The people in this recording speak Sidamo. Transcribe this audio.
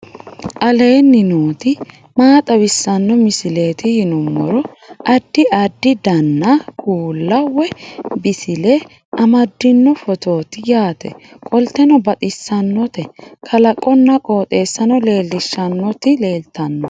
aleenni nooti maa xawisanno misileeti yinummoro addi addi dananna kuula woy biinsille amaddino footooti yaate qoltenno baxissannote kalaqonna qooxeessano lellishshannoti leltanno